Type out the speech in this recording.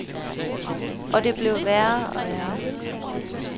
Og det bliver værre og værre.